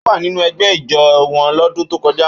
Ó wà nínú ẹgbẹ́ ijó wọn lọ́dún tó kọjá.